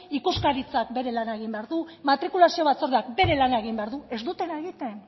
ikuskaritzak bere lana egin behar du matrikulazio batzordeak bere lana egin behar du ez dutena egiten